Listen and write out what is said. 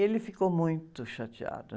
Ele ficou muito chateado.